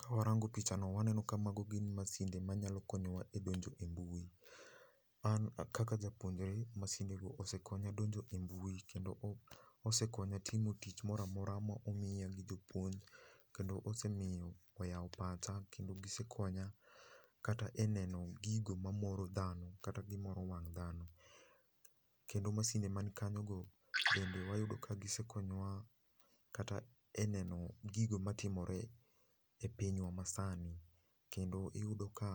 Kawarango pichano waneno ka mago gin masinde manyalo konyowa donjo e mbui. An kaka japuonjre, masinde go osekonya donjo e mbui kendo osekonya timo tich moro amora ma omiya gi jopuonj kendo osemiyo oyao pacha kendo osekonya neno gigo mamoro dhano kata gigo mamoro wang dhano . Kendo masinde man kanyo go bende wayudo ka gisekonyowa neno gigo matimore e pinywa masani kendo iyudo ka